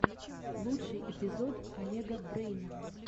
лучший эпизод олега брэйна